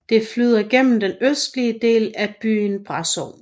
Det flyder gennem den østlige del af byen Brașov